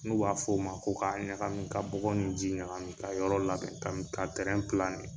N'u b'a f'o ma ko ka ɲagami, ka bɔgɔ ni ji ɲagami, ka yɔrɔ labɛn kami ka kɛ.